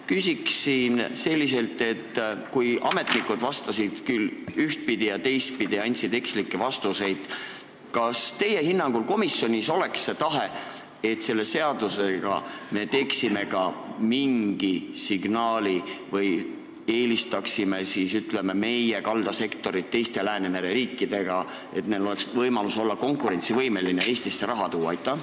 Küsin selliselt: kui ametnikud vastasid küll ühtpidi, küll teistpidi, andsid eksitavaid vastuseid, siis kas teie hinnangul komisjon oleks seisukohal, et me saaksime selle seadusega anda mingi signaali või luua eelise, et meie kaldasektor suudaks teiste Läänemere riikide kaldasektoritega paremini konkureerida ja Eestisse raha tuua?